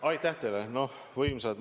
Aitäh teile!